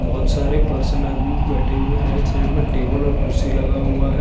बोहोत सारे पर्सन आदमी बेठे हुए राईट साइड में टेबल और कुर्सी लगा हुआ है।